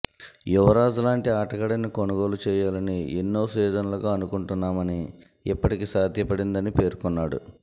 యువరాజ్ లాంటి ఆటగాడిని కొనుగోలు చేయాలని ఎన్నో సీజన్లుగా అనుకుంటున్నామని ఇప్పటికి సాధ్యపడిందని పేర్కొన్నాడు